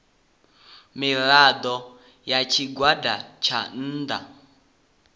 mirado ya tshigwada tsha nnda